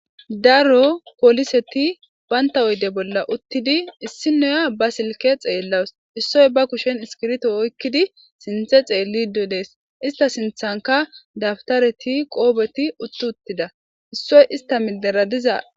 daro poliseti baynta oyde bolla uttidi issinoya ba silke xeellaws issoy ba kushen iskirto oykkidi sinthe xeellido dees ista sinthanka dabtareti qoobeti utti uttida issoy ista mideradiza